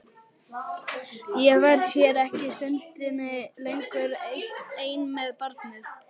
Ég verð hér ekki stundinni lengur ein með barnið.